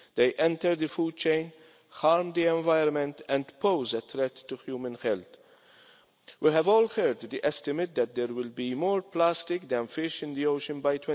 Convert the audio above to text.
They enter the food chain, harm the environment and pose a threat to human health. We have all heard the estimate that there will be more plastic than fish in the ocean by